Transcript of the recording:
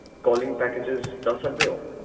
calling packages ਦਸ ਸਕਦੇ ਹੋ